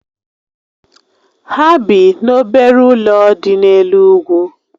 Ha bị n'obere ụlọ dị n'elu úgwù